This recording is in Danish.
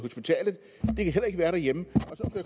være derhjemme